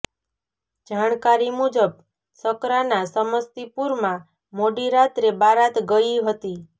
જાણકારી મુજબ શકરાના સમસ્તીપુરમાં મોડી રાત્રે બારાત ગયી હતી